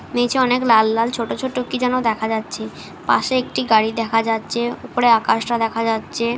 নীচে অনেক লাল লাল ছোট ছোট কি যেন দেখা যাচ্ছে পাশে একটি গাড়ি দেখা যাচ্ছে উপরে আকাশটা দেখা যাচ্ছে ।